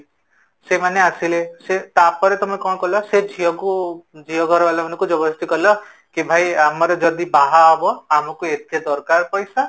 ସେମାନେ ଆସିଲେ, ସେ ତା'ପରେ ତମେ କଣ କଲ ସେ ଝିଅକୁ ଝିଅ ଘର ବାଲାଙ୍କୁ ଜବରଦସ୍ତି କଲ କି ଭାଇ ଆମର ଯଦି ବାହା ହବ ଆମକୁ ଏତେ ଦରକାର ପଇସା